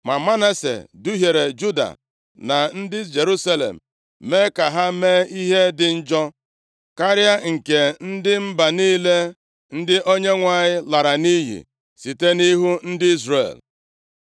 Ma Manase duhiere Juda na ndị Jerusalem, mee ka ha mee ihe dị njọ karịa nke ndị mba niile ndị Onyenwe anyị lara nʼiyi site nʼihu ndị Izrel.